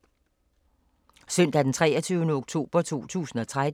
Søndag d. 23. oktober 2016